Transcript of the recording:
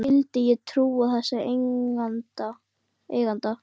Af hverju skyldi ég trúa þessum eiganda?